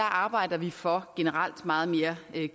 arbejder vi for generelt meget mere